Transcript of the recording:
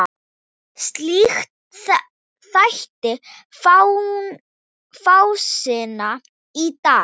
Slíkt þætti fásinna í dag.